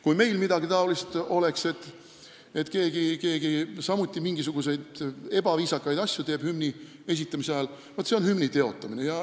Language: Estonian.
Kui meil oleks samuti midagi sellist, et keegi teeb hümni esitamise ajal mingisuguseid ebaviisakaid asju, siis oleks see hümni teotamine.